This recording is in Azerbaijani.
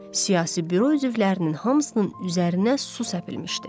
Siyasi Büro üzvlərinin hamısının üzərinə su səpilmişdi.